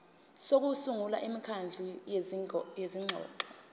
sokusungula imikhandlu yezingxoxo